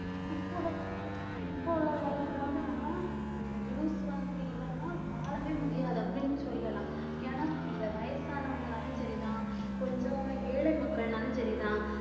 இப்ப உள்ள இப்ப உள்ள காலத்துல வந்து நம்ம அந்த news வந்து இல்லைன்னா வாழவே முடியாது அப்படின்னு சொல்லலாம் ஏன்னா இந்த வயசானவங்கனாலும் சரிதான் கொஞ்சம் ஏழை மக்கள்னாலும் சரிதான்